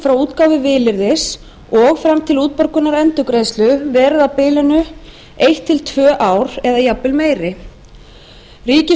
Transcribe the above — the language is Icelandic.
frá útgáfu vilyrðis og fram til útborgunar endurgreiðslunnar verið á bilinu eitt til tvö ár eða jafnvel meiri ríkissjóður ætti